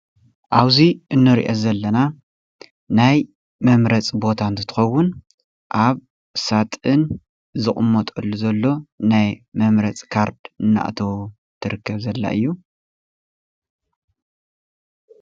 ኣብዚ እንሪኦ ዘለና ናይ መምረፂ ቦታ እንትትኸውን፣ አብ ሳፁን ዝቕመጠሉ ዘሎ ናይ መምረፂ ካርዲ እናእተዉ ትርከብ ዘላ እዩ።